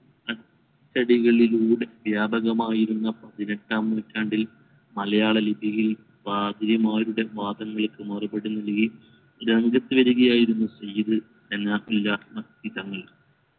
അച്ചടികളിലൂടെ വ്യാപകമായിരുന്ന പതിനെട്ടാം നൂറ്റാണ്ടിൽ മലയാള ലിപിയിൽ പാതിരിമാരുടെ വാദങ്ങൾക് മറുപടി നൽകി രംഗത്ത് വരികയായിരുന്നു സയ്യിദ് എന്ന തങ്ങൾ